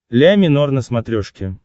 ля минор на смотрешке